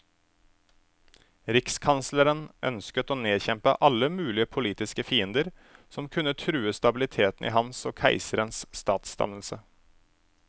Rikskansleren ønsket å nedkjempe alle mulige politiske fiender, som kunne true stabiliteten i hans og keiserens statsdannelse.